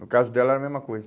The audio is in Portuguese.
No caso dela era a mesma coisa.